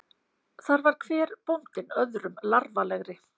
Þar var hver bóndinn öðrum larfalegri.